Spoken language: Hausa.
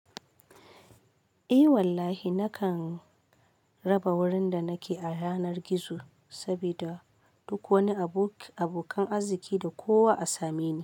Eh wallahi nakan raba wurin da nake a yanar gizo sabida duk wani abokan arziki da kowa a same.